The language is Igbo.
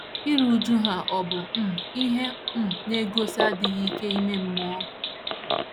Iru újú ha ọ̀ bụ um ihe um na - egosi adịghị ike ime mmụọ??